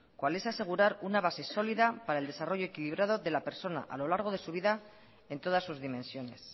cual es asegurar una base sólida para el desarrollo equilibrado de la persona a lo largo de su vida en todas sus dimensiones